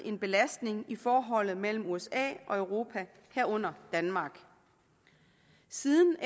en belastning i forholdet mellem usa og europa herunder danmark siden